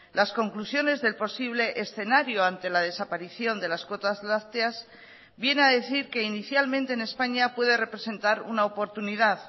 las conclusiones del posible escenario ante la desaparición de las cuotas lácteas viene a decir que inicialmente en españa puede representar una oportunidad